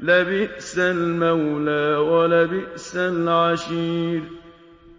لَبِئْسَ الْمَوْلَىٰ وَلَبِئْسَ الْعَشِيرُ